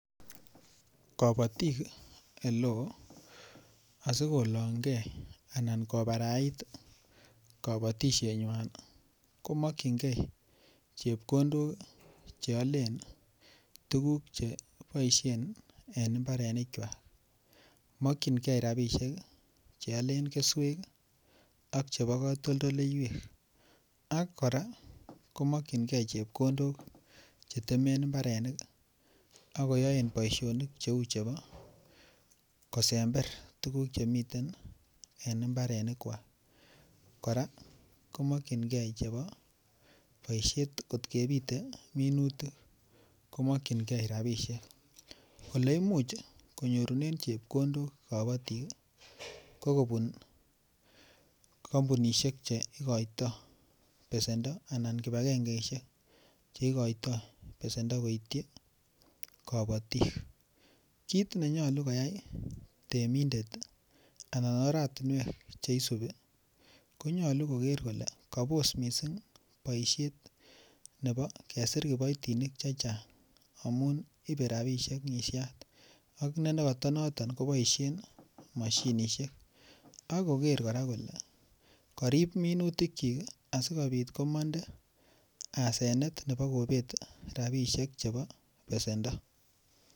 Kabatik oleo asi kolongei anan kobarait kabatisienywan ko mokyingei chepkondok Che aalen tuguk Che boisien en mbarenikwak mokyingei rabisiek Che alen keswek ak Che alen ak Che alen katoldoywek ak kora ko mokyingei chepkondok Che temen mbarenik ak koyoen boisionik Cheu chebo kosember tuguk Che miten en mbarenikwak kora ko mokyingei chebo boisiet angot kebite minutik ko mokyingei rabisiek Ole Imuch konyorunen chepkondok kabatik ko kobun kampunisiek Che igoitoi besendo anan kibagengesiek Che igoitoi besendo koityi kabatik kit ne nyolu koyai temindet anan oratinwek Che isubi ko nyolu koger kole kabos mising boisiet nebo kesir kiboitinik Che Chang amun ibe rabisiek ngisyat ak nekoto noton koboisien mashinisiek ak koger kole karib minutikyik asikobit komonde asenet nebo kobet rabisiek chebo besendo